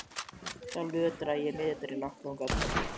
Sjálf lötraði ég niðurdregin í áttina þangað.